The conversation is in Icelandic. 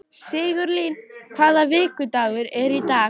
Sigurlín, hvaða vikudagur er í dag?